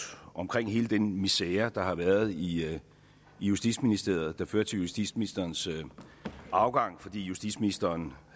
omkring hele den misere der har været i i justitsministeriet der førte til justitsministerens afgang fordi justitsministeren